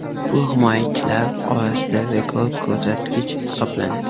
Bu himoyachilar orasida rekord ko‘rsatkich hisoblanadi .